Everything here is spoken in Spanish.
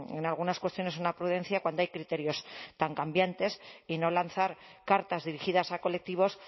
en algunas cuestiones una prudencia cuando hay criterios tan cambiantes y no lanzar cartas dirigidas a colectivos